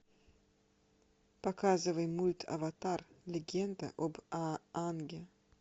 показывай мульт аватар легенда об аанге